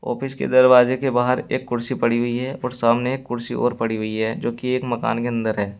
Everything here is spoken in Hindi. ऑफिस के दरवाजे के बाहर एक कुर्सी पड़ी हुई है और सामने एक कुर्सी और पड़ी हुई है जो की एक मकान के अंदर है।